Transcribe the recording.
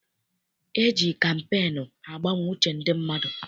E ji kampeenu agbanwe uche ndị mmadụ.